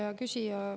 Hea küsija!